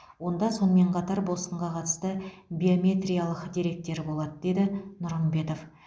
онда сонымен қатар босқынға қатысты биометриялық деректер болады деді нұрымбетов